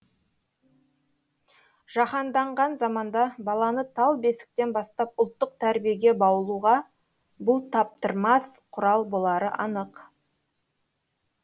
жаһанданған заманда баланы тал бесіктен бастап ұлттық тәрбиеге баулуға бұл таптырмас құрал болары анық